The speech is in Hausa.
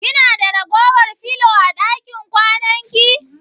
Kina da ragowar filo a ɗakin kwananki?